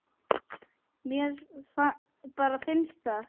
Mér bara finnst það.